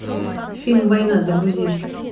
фильм война загрузи